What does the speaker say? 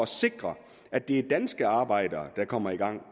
sikre at det er danske arbejdere der kommer i gang